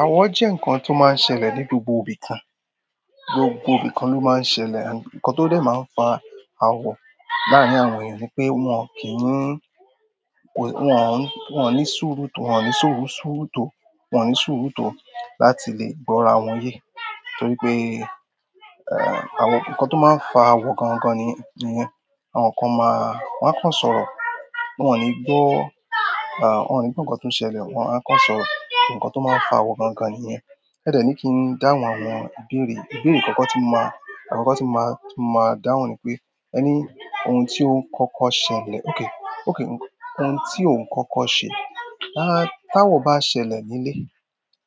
Awọ jẹ́ nǹkan tó máa n ṣẹlẹ̀ nínú gbogbo ibi kan. Gbogbo ibi kan ló máa ń ṣẹlẹ̀, nǹkan tó dẹ̀ máa ń fa àwọ̀ láàrín àwọn èèyàn ní pé wọ́n kì í ní, wọ́n ò ní sùúrù tó, wọ́n ò ní sùúrù tó, wọ́n ò ní sùúrù tó láti lè gbọ́ra wọn yé. Torí pé àwọn nǹkan tó máa ń fa àwọ̀ gangan nìyẹn. Àwọn kan máa, wọn á kàn sọ̀rọ̀, wọ́n ò ní gbọ́, ah, wọ́n ò ní gbọ́ ǹkan tó ń ṣẹlẹ̀, wọ́n á kàn sọ, ǹkan tó máa ń fa awọ gan-an gan-an nìyẹn. É dẹ̀ ní kí n dáhùn àwọn ìbéèrè. Ìbéèrè àkọ́kọ́ tí mo máa, àkọ́kọ́ tí mo máa dáhùn ni pé, ẹní, ohun tí òun kọ́kọ́ ṣẹlẹ̀, okay, okay, ohun tí òun kọ́kọ́ ṣe. Lá, láwọ̀ bá ṣẹlẹ̀ nílé,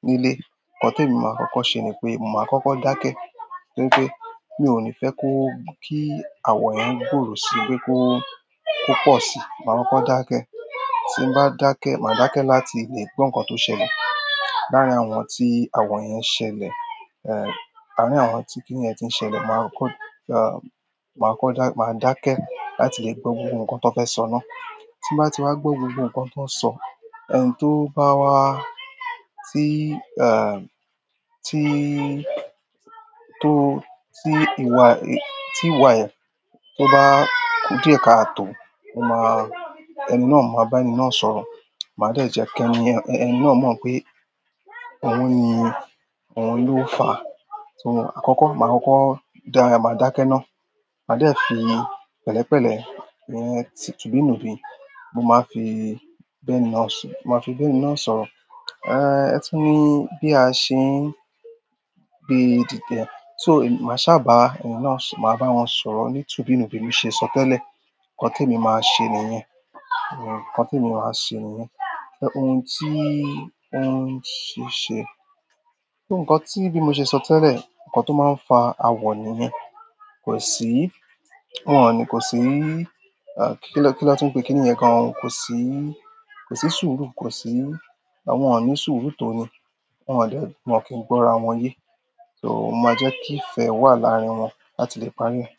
nílé, nǹkan tí èmi máa kọ́kọ́ ṣe ni pé mo máa kọ́kọ́ dákẹ́. Nítorí pé mi ò ní fẹ́ kó, kí awọ yẹn gbòòrò si wípé kó, kó pọ̀ síi. Mo máa kọ́kọ́ dákẹ́. Tí mo bá dákẹ́, màá dákẹ́ láti lè gbọ́ nǹkan tó ṣẹlẹ̀. Láàrín àwọn tí àwọ̀ yẹn ṣẹlẹ̀, àárín àwọn tí kí nìyẹn ti ń ṣẹlẹ̀, màá kọ́, ah, màá kọ́ dá, màá dákẹ́ láti lè gbọ́ gbogbo ǹkan tó fẹ́ sọ náà. Tí mo bá ti wá gbọ́ gbogbo nǹkan tó ń sọ, ẹni tó bá wá, tí, ẹ́h, tí, tó, tí ìwà, tí ìwà ẹ tó bá dùn ẹ̀ka ààtò, mo máa, ẹni náà mo máa bá ẹni náà sọ̀rọ̀. Màá dẹ̀ jẹ́ kí ẹni, ẹni náà mọ̀ pé òun ni, òun ló fà á. So àkọ́kọ́, màá kọ́kọ́ dáa, màá dákẹ́ ná. Màá dẹ̀ fi pẹ̀lẹ́pẹ̀lẹ́, túbìnùbí, mo máa fi bá ẹni náà sọ̀, mo máa fi bá ẹni náà sọ̀rọ̀. Ah, ẹ tún ní bí a ṣe ń, bí ìdí tí, so màá ṣáà bá ẹni náà, màá bá wọn sọ̀rọ̀ ní túbìnúbì mi ṣe sọ tẹ́lẹ̀. Nǹkan témi máa ń ṣe nìyẹn. Nǹkan tí èmi máa ń ṣe nìyẹn. Nǹkan tí bí mo ṣe sọ tẹ́lẹ̀, ǹkan tó máa ń fa àwọ̀ nìyẹn. Kò sí, wọ́n ò ní, kò sí, kí ló, kí ló tí ń pé kí nìyẹn gan-an òun, kò sí, kò sí sùúrù, kò sí, àwọn ò ní sùúrù tó ni. Wọn ò lè, wọ́n ò kí n gbọ́ra wọn yé. So mo máa jẹ́ kí ìfẹ́ wà láàrín wọn láti lè parí rẹ̀.